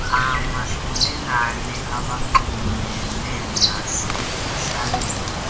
omahlulelane abanxulumene nasekuhlaleni